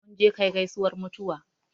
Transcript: Mun je kai gaisuwar mutuwa